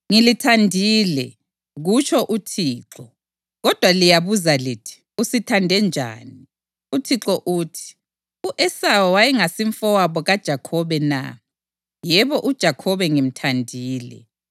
“Ngilithandile,” kutsho uThixo. “Kodwa liyabuza lithi, ‘Usithande njani?’ ” UThixo uthi, “U-Esawu wayengasimfowabo kaJakhobe na? Yebo uJakhobe ngimthandile,